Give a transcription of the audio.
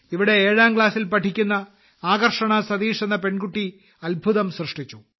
ഇവിടെ ഏഴാം ക്ലാസിൽ പഠിക്കുന്ന ആകർഷണ സതീഷ് എന്ന പെൺകുട്ടി അത്ഭുതം സൃഷ്ടിച്ചു